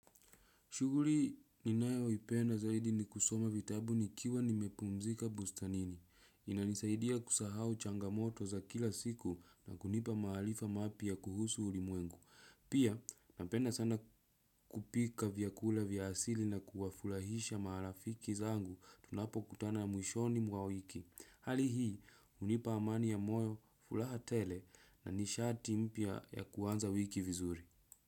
Shughuli ninayo ipenda zaidi ni kusoma vitabu nikiwa nimepumzika bustanini. Inanisaidia kusahau changamoto za kila siku na kunipa maarifa mapya kuhusu ulimwengu. Pia, napenda sana kupika vyakula vya asili na kuwafurahisha marafiki zangu tunapo kutana mwishoni mwa wiki. Hali hii, unipa amani ya moyo, furaha tele na nishati mpya ya kuanza wiki vizuri.